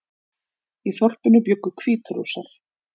Í þorpinu bjuggu Hvítrússar